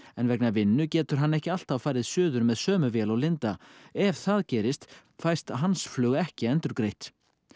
en vegna vinnu getur hann ekki alltaf farið suður með sömu vél og Linda ef það gerist fæst hans flug ekki endurgreitt